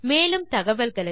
மேலும் தகவல்களுக்கு